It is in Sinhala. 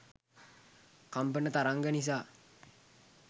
කම්පන තරංග නිසා